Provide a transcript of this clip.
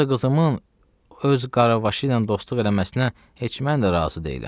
Yoxsa qızımın öz qaravaşı ilə dostluq eləməsinə heç mən də razı deyiləm.